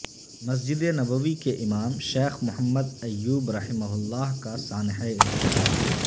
مسجد نبوی کے امام شیخ محمد ایوب رحمہ اللہ کا سانحہ ارتحال